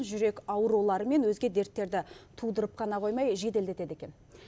жүрек аурулары мен өзге дерттерді тудырып қана қоймай жеделдетеді екен